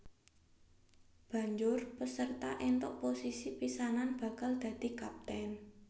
Banjur paserta entuk posisi pisanan bakal dadi kapten